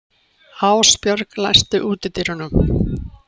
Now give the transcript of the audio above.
Ásbjörg, læstu útidyrunum.